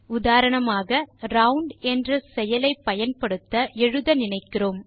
உதாரணமாக நாம் ரவுண்ட் என்ற செயலை பயன்படுத்த எழுத நினைக்கிறோம்